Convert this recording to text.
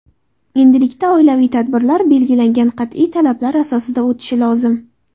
Endilikda oilaviy tadbirlar belgilangan qat’iy talablar asosida o‘tishi lozim.